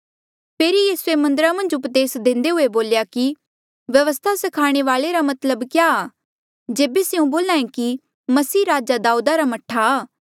फेरी यीसूए मन्दरा मन्झ उपदेस देंदे हुए बोल्या कि व्यवस्था स्खाणे वाल्ऐ रा मतलब क्या आ जेबे स्यों बोल्हा ऐें कि मसीह राजा दाऊदा रा मह्ठा